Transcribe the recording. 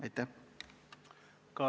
Aitäh!